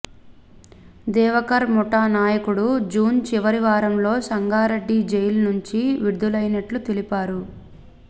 దేవకర్ ముఠా నాయకుడు జూన్ చివరి వారంలో సంగారెడ్డి జైలు నుంచి విడులైనట్లు తెలిపారు